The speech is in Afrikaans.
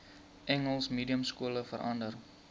engels mediumskole verander